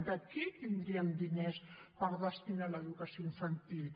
d’aquí tindríem diners per destinar a l’educació infantil